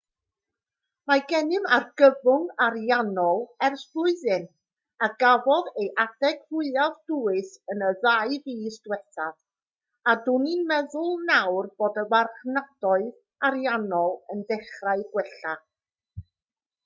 mae gennym argyfwng ariannol ers blwyddyn a gafodd ei adeg fwyaf dwys yn y ddau fis diwethaf a dw i'n meddwl nawr bod y marchnadoedd ariannol yn dechrau gwella